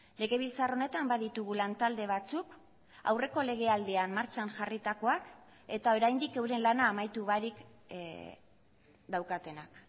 legebiltzar honetan baditugu lantalde batzuk aurreko legealdian martxan jarritakoak eta oraindik euren lana amaitu barik daukatenak